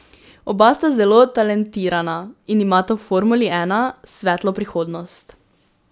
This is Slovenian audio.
Oba sta zelo talentirana in imata v formuli ena svetlo prihodnost.